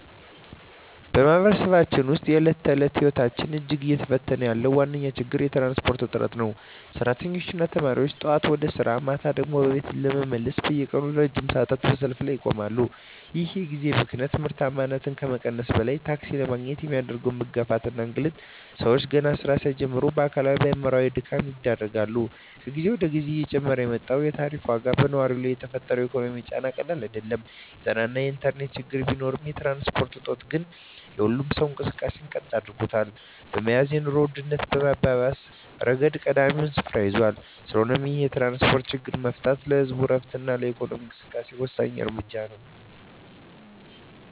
በማኅበረሰባችን ውስጥ የዕለት ተዕለት ሕይወትን እጅግ እየፈተነ ያለው ዋነኛው ችግር የትራንስፖርት እጥረት ነው። ሠራተኞችና ተማሪዎች ጠዋት ወደ ሥራ፣ ማታ ደግሞ ወደ ቤት ለመመለስ በየቀኑ ለረጅም ሰዓታት በሰልፍ ላይ ይቆማሉ። ይህ የጊዜ ብክነት ምርታማነትን ከመቀነሱም በላይ፣ ታክሲ ለማግኘት የሚደረገው መጋፋትና እንግልት ሰዎችን ገና ሥራ ሳይጀምሩ ለአካላዊና አእምሮአዊ ድካም ይዳርጋል። ከጊዜ ወደ ጊዜ እየጨመረ የመጣው የታሪፍ ዋጋም በነዋሪው ላይ የፈጠረው ኢኮኖሚያዊ ጫና ቀላል አይደለም። የጤናና የኢንተርኔት ችግሮች ቢኖሩም፣ የትራንስፖርት እጦት ግን የሁሉንም ሰው እንቅስቃሴ ቀጥ አድርጎ በመያዝ የኑሮ ውድነቱን በማባባስ ረገድ ቀዳሚውን ስፍራ ይይዛል። ስለሆነም ይህንን የትራንስፖርት ችግር መፍታት ለህዝቡ ዕረፍትና ለኢኮኖሚው እንቅስቃሴ ወሳኝ እርምጃ ነው።